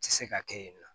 Tɛ se ka kɛ yen nɔ